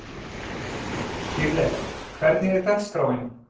Dýrleif, hvernig er dagskráin?